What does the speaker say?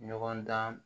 Ɲɔgɔn dan